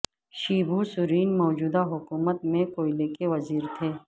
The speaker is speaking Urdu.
شیبو سورین موجودہ حکومت میں کوئلے کے وزیر تھے